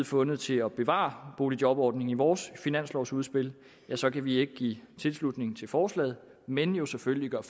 fundet til at bevare boligjobordningen i vores finanslovudspil så kan vi ikke give tilslutning til forslaget men jo selvfølgelig gøre